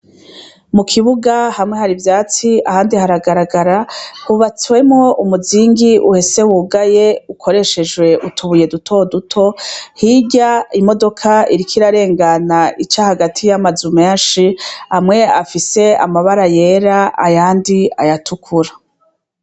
Mu kibuga hamwe hari vyatsi ahandi haragaragara hubatswemo umuzingi uhese wugaye ukoreshejwe utubuye duto duto hirya imodoka irikairarengana ica hagati y'amazu menshi amwe afise amabara yera ayandi ayatukura.